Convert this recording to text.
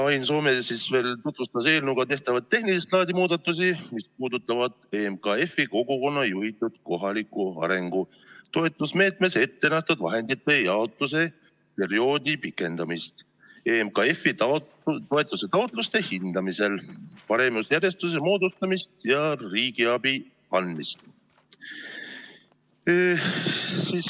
Ain Soome tutvustas eelnõuga tehtavaid tehnilist laadi muudatusi, mis puudutavad EMKF-i kogukonna juhitud kohaliku arengu toetusmeetmes ette nähtud vahendite jaotuse perioodi pikendamist, EMKF-i toetuse taotluste hindamisel paremusjärjestuse moodustamist ja riigiabi andmist.